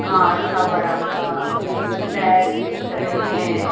कांच का बड़ा सा रैक दिख रहे हैं।